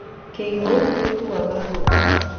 Kĩihũ nĩgĩakua ngũkũ